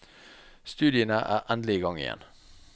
Studiene er endelig i gang igjen.